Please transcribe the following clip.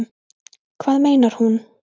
Hvað meinar hún?